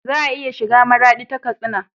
Za a iya shiga maradi ta katsina